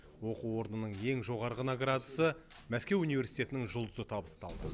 оқу орнының ең жоғарғы наградасы мәскеу университетінің жұлдызы табысталды